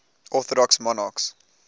orthodox monarchs